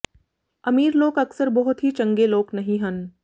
ਅਮੀਰ ਲੋਕ ਅਕਸਰ ਬਹੁਤ ਹੀ ਚੰਗੇ ਲੋਕ ਨਹੀ ਹਨ